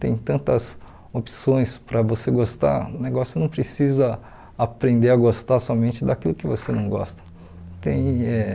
Tem tantas opções para você gostar, o negócio não precisa aprender a gostar somente daquilo que você não gosta. Tem eh